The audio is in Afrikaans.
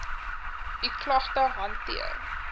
u klagte hanteer